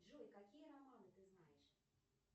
джой какие романы ты знаешь